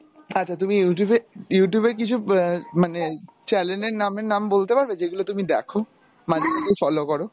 আচ্ছা তুমি Youtube এ Youtube এ আহ কিছু মানে চ্যালেনের নামের নাম বলতে পারবে যেগুলো তুমি দেখো মানে তুমি follow করো?